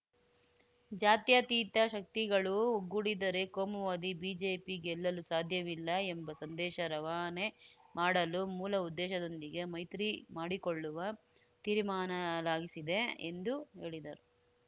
ಜಾತ್ಯತೀತ ಶಕ್ತಿಗಳು ಒಗ್ಗೂಡಿದರೆ ಕೋಮುವಾದಿ ಬಿಜೆಪಿ ಗೆಲ್ಲಲು ಸಾಧ್ಯವಿಲ್ಲ ಎಂಬ ಸಂದೇಶ ರವಾನೆ ಮಾಡಲು ಮೂಲ ಉದ್ದೇಶದೊಂದಿಗೆ ಮೈತ್ರಿ ಮಾಡಿಕೊಳ್ಳುವ ತೀರ್ಮಾಲಾಗಿಸಿದೆ ಎಂದು ಹೇಳಿದರು